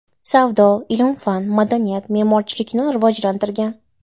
Savdo, ilm-fan, madaniyat, memorchilikni rivojlantirgan.